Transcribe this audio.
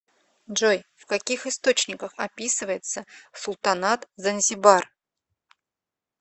джой в каких источниках описывается султанат занзибар